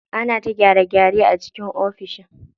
Ana ta gyare gyare a cikin ofishin.